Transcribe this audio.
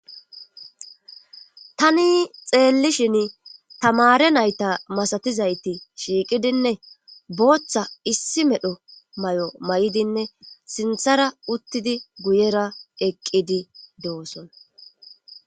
tani xeellishin tamare nayta masatizayti shiiqidinne booththa issi medho may7o may7idinne sinthara uttidi guyera eqqidi dooson